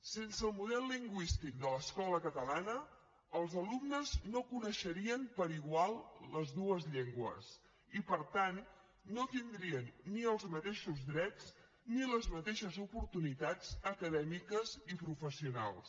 sense el model lingüístic de l’escola catalana els alumnes no coneixerien per igual les dues llengües i per tant no tindrien ni els mateixos drets ni les mateixes oportunitats acadèmiques i professionals